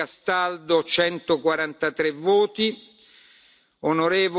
voti On. Castaldo 143